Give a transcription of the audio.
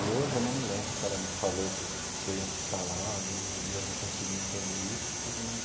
E hoje eu não me lembro se ela me falou que eu que eu ia ficar lá e eu e eu não consegui entender isso tudo, mas...